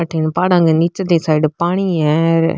अठीने पहाड़ा के नीचली साईड पानी है।